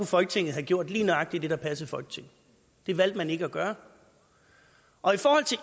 folketinget have gjort lige nøjagtig det der passede folketinget det valgte man ikke at gøre